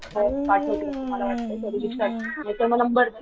तर पाठवतील असं मला वाटतय तरी विचार नाहीतर मग नंबर दे .